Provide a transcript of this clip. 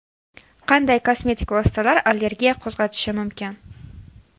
Qanday kosmetik vositalar allergiya qo‘zg‘atishi mumkin?